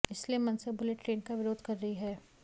इसलिए MNS bullet train का विरोध कर रही है